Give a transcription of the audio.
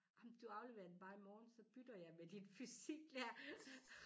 Ej men du afleverer den bare i morgen så bytter jeg med din fysiklærer